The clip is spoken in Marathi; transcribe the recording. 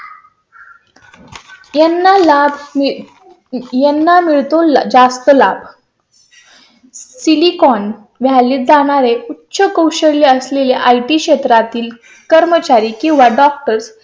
ते ना ला यांना मिळतील जास्त लाभ . silicon vallyt जाणार आहे. उच्च कौशल्य असलेले IT क्षेत्रातील कर्मचारी किंवा doctor